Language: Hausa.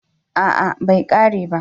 A'a bai kare ba